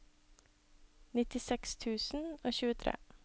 nittiseks tusen og tjuetre